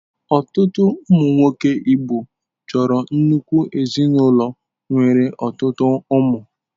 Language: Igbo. Ọtụtụ ụmụ nwoke Igbo chọrọ nnukwu ezinụlọ nwere ọtụtụ ụmụ.